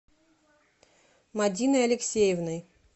мадиной алексеевной